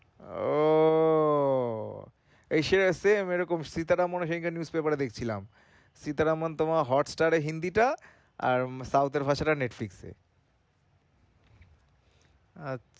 ওহ! Asia same এরকম news paper Sita Raman তোমার Hotstar এ হিন্দিটা আর South এর ভাষাটা Netflix এ